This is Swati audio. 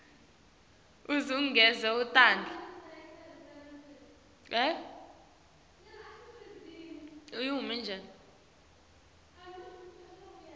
uze ugeze tandla